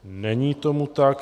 Není tomu tak.